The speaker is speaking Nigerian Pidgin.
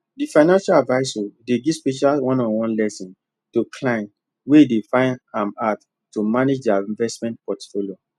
the financial advisor dey give special one on one lesson to clients wey dey find am hard to manage their investment portfolio